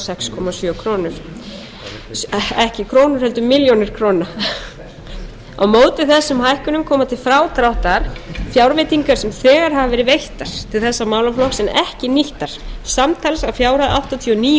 sex komma sjö milljónir króna á móti þessum hækkunum koma til frádráttar fjárveitingar sem þegar hafa verið veittar til þessa málaflokks en ekki nýttar samtals að fjárhæð áttatíu og níu